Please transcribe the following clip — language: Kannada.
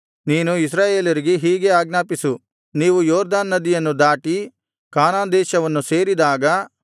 ನೀನು ಇಸ್ರಾಯೇಲರಿಗೆ ಹೀಗೆ ಆಜ್ಞಾಪಿಸು ನೀವು ಯೊರ್ದನ್ ನದಿಯನ್ನು ದಾಟಿ ಕಾನಾನ್ ದೇಶವನ್ನು ಸೇರಿದಾಗ